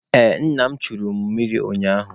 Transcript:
Ee, nna m echuru mụ mmiri ụnyaahụ.